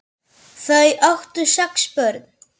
Þau áttu sex börn.